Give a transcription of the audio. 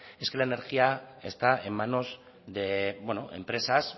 es que la energía está en manos de empresas